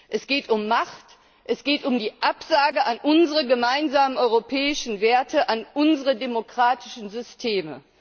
Es geht um Macht, es geht um die Absage an unsere gemeinsamen europäischen Werte, an unsere demokratischen Systeme.